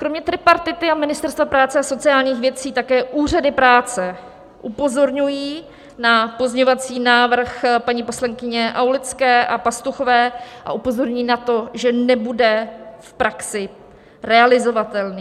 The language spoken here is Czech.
Kromě tripartity a Ministerstva práce a sociálních věcí také úřady práce upozorňují na pozměňovací návrh paní poslankyně Aulické a Pastuchové a upozorňují na to, že nebude v praxi realizovatelný.